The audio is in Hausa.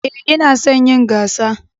Ee, ina son yin gasa